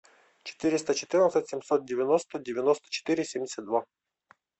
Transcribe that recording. четыреста четырнадцать семьсот девяносто девяносто четыре семьдесят два